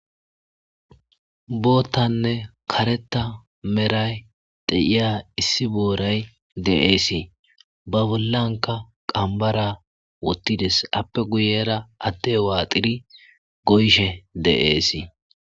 boottanne kareta meray de7iya issi booray de7eesii ba bollanka qambara wottides appe guyera atte waaxiri goyshe de7eesii